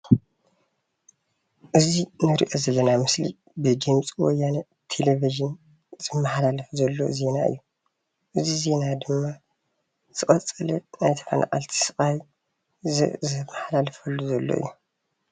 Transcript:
እዚ እንሪኦ ዘለና ምስሊ ብድምፂ ወያነ ቴለቭዥን ዝመሓላለፍ ዘሎ ዜና እዩ፡፡ እዚ ዜና ድማ ዝቀፀለ ናይ ተፈናቀልቲ ስቃይ ዘርኢ ዝመሓላልፈሉ ዘሎ እዩ፡፡